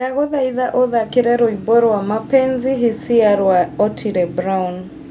ndagũthaitha ũthaakĩre rwĩmbo rwa mapenzi hisia rwa otile brown